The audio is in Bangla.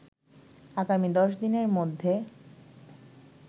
আগামী ১০ দিনের মধ্যে